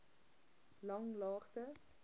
langlaagte